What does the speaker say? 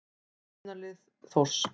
Byrjunarlið Þórs.